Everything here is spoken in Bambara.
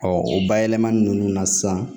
o bayɛlɛmani ninnu na sisan